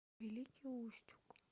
великий устюг